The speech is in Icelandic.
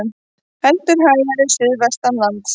Heldur hægari suðvestanlands